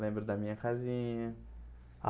Lembro da minha casinha.